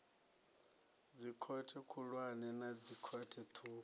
dzikhothe khulwane na dzikhothe ṱhukhu